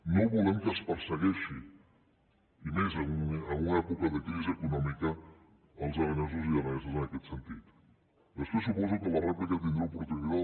no volem que es persegueixin i menys en una època de crisi econòmica els aranesos i araneses en aquest sentit després suposo que a la rèplica tindré oportunitat